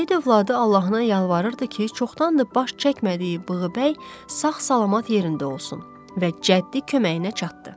Seyid övladı Allahına yalvarırdı ki, çoxdandır baş çəkmədiyi Bığbəy sağ-salamat yerində olsun və cəddi köməyinə çatdı.